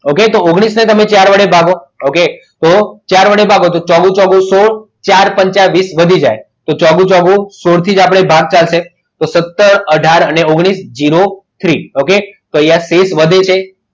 Okay તો ઓગણીસ ને ચાર વડે ભાગો okay તો ચાર વડે ભાગો તો ચ્ગોગું છોગું સોળ ચાર પંચ વીસ વધી જાય છોગું છોગું સોળ થી જ આપણે ભાગતા છીએ તો સત્તર અઢાર અને ઓગ્નીશ ઝીરો અને થ્રી okay તો અહીંયા સીટ વધે છે.